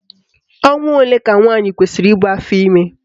Ọnwa ole ka nwaanyị kwesiri ibu afọime?